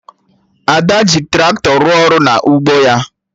Ada ji Traktọ rụọ ọrụ na ugbo ya